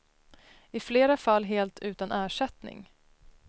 I flera fall helt utan ersättning.